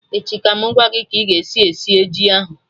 Echi ka mụ gwa gị ka ị ga esi sie ji ahụ